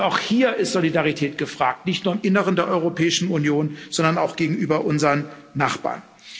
Also auch hier ist Solidarität gefragt, nicht nur im Inneren der Europäischen Union, sondern auch gegenüber unseren Nachbarn.